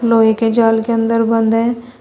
लोहे के जाल के अंदर बंद हैं।